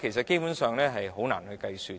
基本上是難以計算的。